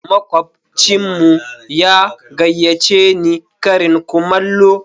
Makwabcinmu ya gayyace ni karin kumallo.